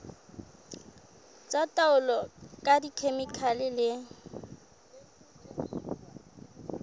tsa taolo ka dikhemikhale le